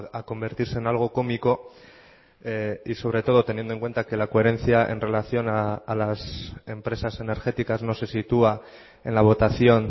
a convertirse en algo cómico y sobre todo teniendo en cuenta que la coherencia en relación a las empresas energéticas no se situá en la votación